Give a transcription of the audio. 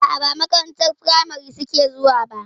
A'a ba makarantar firamari suke zuwa ba.